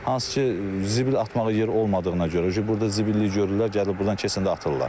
Hansı ki, zibil atmağa yer olmadığına görə burda zibillik görürlər, gəlib burdan keçəndə atırlar.